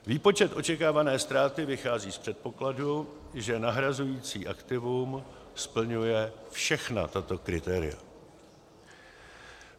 Výpočet očekávané ztráty vychází z předpokladu, že nahrazující aktivum splňuje všechna tato kritéria: